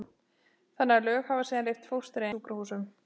þannig að lög hafa síðan leyft fóstureyðingar í sjúkrahúsum.